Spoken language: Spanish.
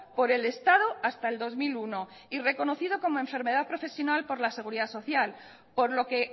por el estado hasta el dos mil uno y reconocido como enfermedad profesional por la seguridad social por lo que